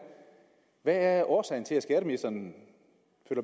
hvad er årsagen til at skatteministeren føler